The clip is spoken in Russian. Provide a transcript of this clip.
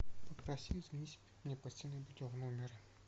попроси заменить мне постельное белье в номер